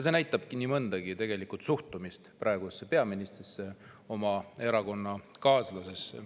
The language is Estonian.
See näitab nii mõndagi, ka suhtumist praegusesse peaministrisse, oma erakonnakaaslasesse.